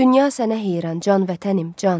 Dünya sənə heyran, can vətənim, can.